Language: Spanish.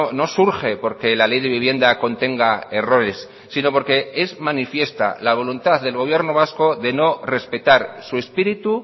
no surge porque la ley de vivienda contenga errores sino porque es manifiesta la voluntad del gobierno vasco de no respetar su espíritu